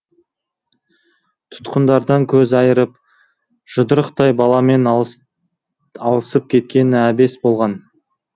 тұтқындардан көз айырып жұдырықтай баламен алысып кеткені әбес болған